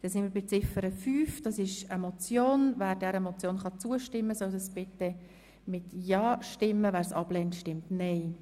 Wer Ziffer 5 der Motion annehmen will, stimmt Ja, wer dies ablehnt, stimmt Nein.